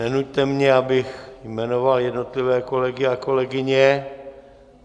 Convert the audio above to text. Nenuťte mě, abych jmenoval jednotlivé kolegy a kolegyně.